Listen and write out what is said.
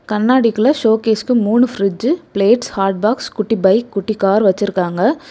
கண்ணாடிக்குள்ள ஷோகேஸ்க்கு மூணு பிரிட்ஜ பிளேட்ஸ் ஹாட் பாக்ஸ் குட்டி பைக் குட்டி கார் வச்சிருக்காங்க.